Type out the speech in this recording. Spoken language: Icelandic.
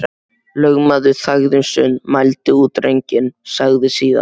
Lögmaður þagði um stund, mældi út drenginn, sagði síðan: